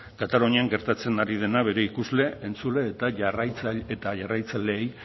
katalunian gertatzen ari dena bere ikusle entzule eta jarraitzaileei